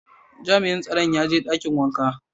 Jami'in tsaron ya je dakin wanka.